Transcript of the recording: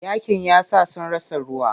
Yaƙin yasa sun rasa ruwa.